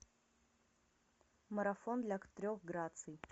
марафон для трех граций